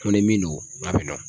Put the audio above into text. Ko ni min don ka bɛ don.